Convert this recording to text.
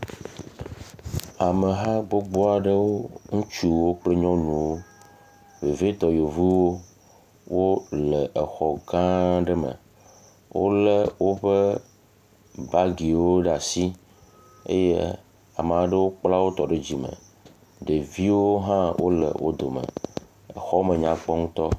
Ameha gbogbo aɖewo ŋutsuwo kple nyɔnuwo vevietɔ yevuwo wo le exɔ gãa aɖe me wolé woƒe bagiwo ɖe asi eye ame aɖewo kpla wotɔ ɖe dzime ɖeviwo hã wole dome, xɔa me nyakpɔ ŋutɔ.